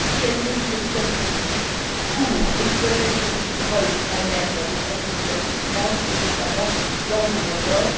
Quelles mesures sont prévues pour l'exploitation du pétrole en mer dans des profondeurs plus grandes et, notamment, dans le grand nord?